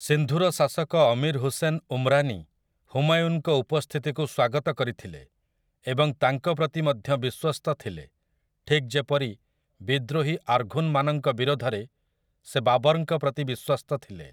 ସିନ୍ଧୁର ଶାସକ ଅମୀର୍ ହୁସେନ୍ ଉମ୍‌ରାନୀ ହୁମାୟୁନ୍‌ଙ୍କ ଉପସ୍ଥିତିକୁ ସ୍ୱାଗତ କରିଥିଲେ ଏବଂ ତାଙ୍କ ପ୍ରତି ମଧ୍ୟ ବିଶ୍ୱସ୍ତ ଥିଲେ ଠିକ୍ ଯେପରି ବିଦ୍ରୋହୀ ଆର୍ଘୁନ୍‌ମାନଙ୍କ ବିରୋଧରେ ସେ ବାବର୍‌ଙ୍କ ପ୍ରତି ବିଶ୍ୱସ୍ତ ଥିଲେ ।